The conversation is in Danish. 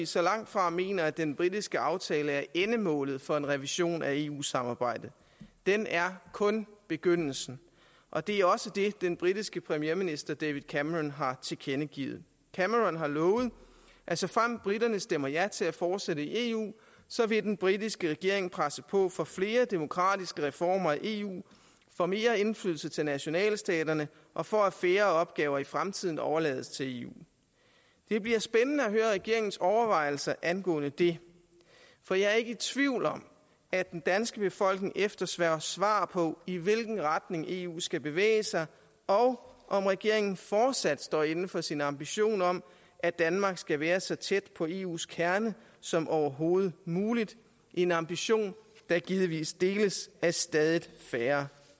så langtfra mener at den britiske aftale er endemålet for en revision af eu samarbejdet den er kun begyndelsen og det er også det den britiske premierminister david cameron har tilkendegivet cameron har lovet at såfremt briterne stemmer ja til at fortsætte i eu vil den britiske regering presse på for flere demokratiske reformer af eu for mere indflydelse til nationalstaterne og for at færre opgaver i fremtiden overlades til eu det bliver spændende at høre regeringens overvejelser angående det for jeg er ikke i tvivl om at den danske befolkning efterspørger svar på i hvilken retning eu skal bevæge sig og om regeringen fortsat står inde for sin ambition om at danmark skal være så tæt på eus kerne som overhovedet muligt en ambition der givetvis deles af stadig færre